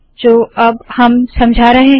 जो अब हम समझा रहे है